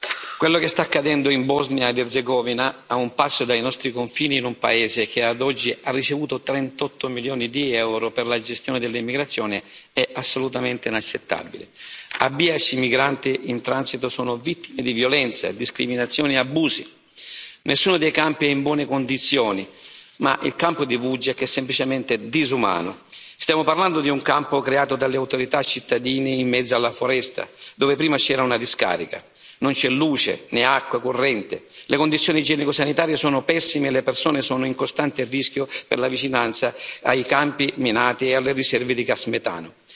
Signor Presidente, onorevoli colleghi, quello che sta accadendo in Bosnia ed Erzegovina, a un passo dai nostri confini, in un paese che ad oggi ha ricevuto 38 milioni di euro per la gestione dell'immigrazione, è assolutamente inaccettabile. A Bihać i migranti in transito sono vittime di violenze, discriminazioni e abusi, nessuno dei campi è in buone condizioni, ma il campo di Vučjak è semplicemente disumano. Stiamo parlando di un campo creato dalle autorità cittadine in mezzo alla foresta, dove prima c'era una discarica, non c'è luce né acqua corrente, le condizioni igienico sanitarie sono pessime e le persone sono in costante rischio per la vicinanza ai campi minati e alle riserve di gas metano.